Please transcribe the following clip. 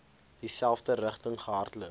dieselfde rigting gehardloop